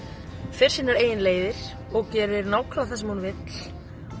fer sínar eigin leiðir og gerir nákvæmlega það sem hún vill